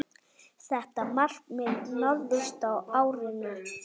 Þetta markmið náðist á árinu.